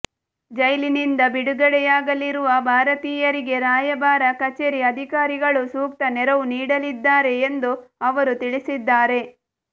ಜೈಲಿನಿಂದ ಬಿಡುಗಡೆಯಾಗಲಿರುವ ಭಾರತೀಯರಿಗೆ ರಾಯಭಾರ ಕಚೇರಿ ಅಧಿಕಾರಿಗಳು ಸೂಕ್ತ ನೆರವು ನೀಡಲಿದ್ದಾರೆ ಎಂದು ಅವರು ತಿಳಿಸಿದ್ದಾರೆ